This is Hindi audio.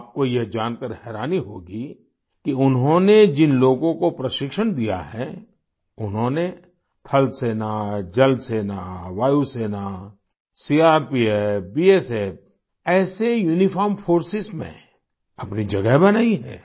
आपको यह जानकार हैरानी होगी कि उन्होंने जिन लोगों को प्रशिक्षण दिया है उन्होंने थल सेना जल सेना वायु सेना सीआरपीएफ बीएसएफ ऐसे यूनिफॉर्म फोर्सेस में अपनी जगह बनाई है